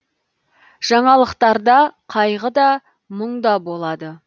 жаңалықтарда қайғы да мұң да болады